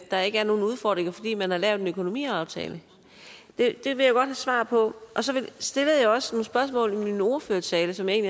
der ikke er nogen udfordringer fordi man har lavet en økonomiaftale det det vil jeg godt have svar på og så stillede jeg også nogle spørgsmål i min ordførertale som jeg